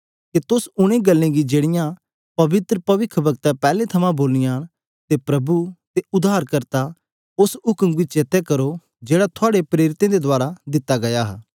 कि तुस ऊन गल्ले गी जो पवित्र पविखवक्तैं पैहले तो बोली ऐ अते प्रभु अते उद्धारकर्ता दी ओस उक्म गी जाद करो जेकी थुआड़े प्रेरितों दे रहें दिती गेई हे